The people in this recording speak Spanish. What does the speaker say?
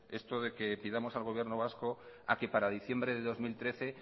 esto de que pidamos al gobierno vasco a que para diciembre de dos mil trece